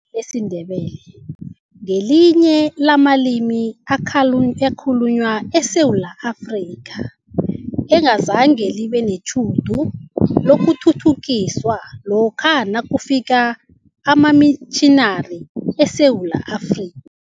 Ilimi lesiNdebele ngelinye lamalimi akhulunywa eSewula Afrika, engazange libe netjhudu lokuthuthukiswa lokha nakufika amamitjhinari eSewula Afrika.